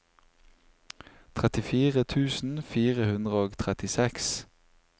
trettifire tusen fire hundre og trettiseks